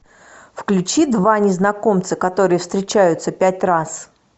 включи два незнакомца которые встречаются пять раз